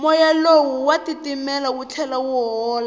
moya lowu wa titimela wu tlhela wu hola